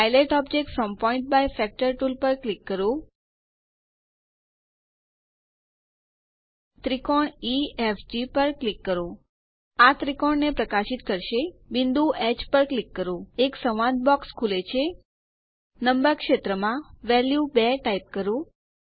dilate object from point by factor tool પર click કરો ત્રિકોણ ઇએફજી પર ક્લિક કરો આ ત્રિકોણ ને પ્રકાશિત કરશે બિંદુ હ પર ક્લિક કરો એક સંવાદ બોક્સ ખુલે છે નંબર ક્ષેત્રમાં વેલ્યુ 2 ટાઇપ કરો